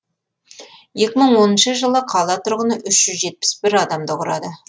екі мың оныншы жылы қала тұрғыны үш жүз жетпіс бір адамды құрады